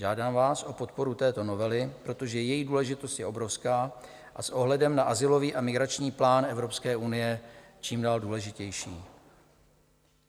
Žádám vás o podporu této novely, protože její důležitost je obrovská a s ohledem na azylový a migrační plán Evropské unie čím dál důležitější.